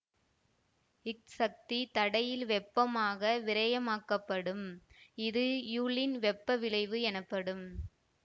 இச் சக்தி தடையில் வெப்பமாக விரயமாக்கப்படும் இது யூலின் வெப்பவிளைவு எனப்படும்